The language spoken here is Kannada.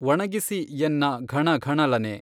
ಒಣಗಿಸಿ ಎನ್ನ ಘಣಘಣಲನೆ